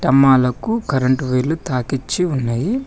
స్తంభాలకు current వైర్లు తాగిచ్చి ఉంది.